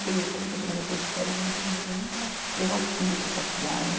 Fui falei, poxa, mas eu estou de férias, eu não tenho dinheiro nem para levar o filho para passear, né?